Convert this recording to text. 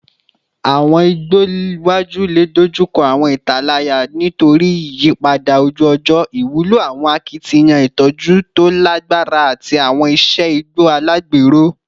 Awọn igbo iwaju le dojukọ awọn italaya nitori iyipada oju-ọjọ, iwulo awọn akitiyan itọju to lagbara ati awọn iṣe igbo alagbero